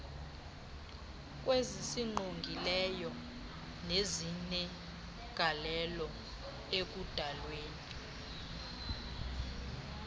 kwezisingqongileyo nezinegalelo ekudalweni